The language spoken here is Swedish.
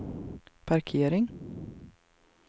parkering